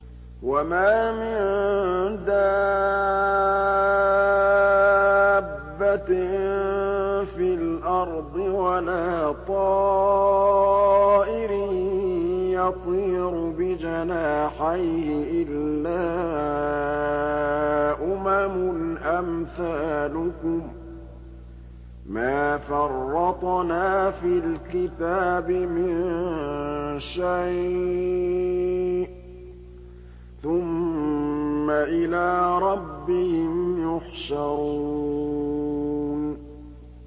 وَمَا مِن دَابَّةٍ فِي الْأَرْضِ وَلَا طَائِرٍ يَطِيرُ بِجَنَاحَيْهِ إِلَّا أُمَمٌ أَمْثَالُكُم ۚ مَّا فَرَّطْنَا فِي الْكِتَابِ مِن شَيْءٍ ۚ ثُمَّ إِلَىٰ رَبِّهِمْ يُحْشَرُونَ